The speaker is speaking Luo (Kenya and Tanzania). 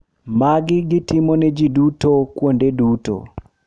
Magi gitimo ne ji duto kuonde duto.